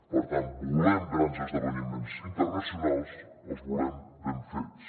per tant volem grans esdeveniments internacionals els volem ben fets